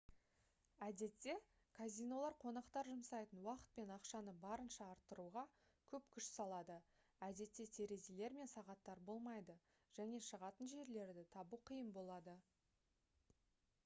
әдетте казинолар қонақтар жұмсайтын уақыт пен ақшаны барынша арттыруға көп күш салады әдетте терезелер мен сағаттар болмайды және шығатын жерлерді табу қиын болады